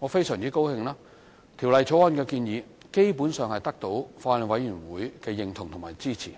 我很高興，《條例草案》的建議基本上得到法案委員會的認同和支持；